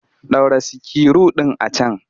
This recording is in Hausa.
Ɗaura sikiru ɗin a can!